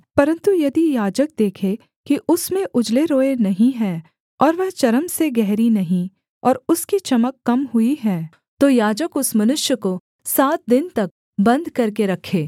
परन्तु यदि याजक देखे कि उसमें उजले रोएँ नहीं हैं और वह चर्म से गहरी नहीं और उसकी चमक कम हुई है तो याजक उस मनुष्य को सात दिन तक बन्द करके रखे